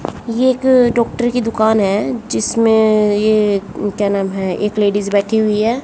ये एक डॉक्टर की दुकान है जिसमें ये क्या नाम है एक लेडिज बैठी हुई है।